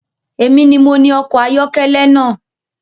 Èmi ni mo ni ọkọ̀ ayọ́kẹ́lẹ́ na